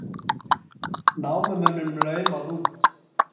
Námumönnum laumað út